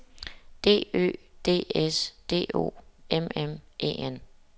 D Ø D S D O M M E N